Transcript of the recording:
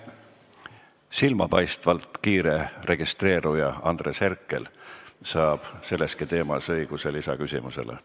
Silmapaistvalt kiire registreeruja Andres Herkel saab õiguse sellegi teema kohta lisaküsimus esitada.